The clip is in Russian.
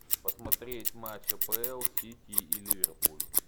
посмотреть матч апл сити и ливерпуль